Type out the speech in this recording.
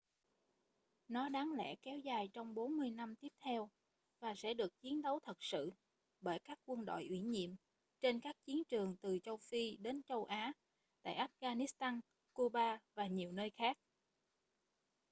nó đáng lẽ kéo dài trong 40 năm tiếp theo và sẽ được chiến đấu thật sự bởi các quân đội ủy nhiệm trên các chiến trường từ châu phi đến châu á tại afghanistan cuba và nhiều nơi khác